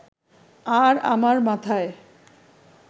আর আমার মাথায়